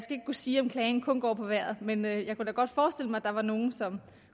kunne sige om klagen kun går på vejret men jeg kunne da godt forestille mig at der var nogle som